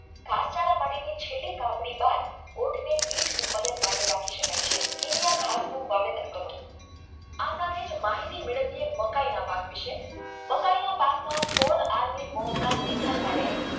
ઘાસચારાની ખીચડી તાપીબાદ ઊંટ નો ઉત્પાદન માટે રાખીને રાખી શકાય છે ઘાસનું વાવેતર કરવું આ સાથે એ માહિતી મેળવવી ને મકાઈના બાકી છે મકાઈના પાકમાં ફૂલહાર નિયંત્રણ માટે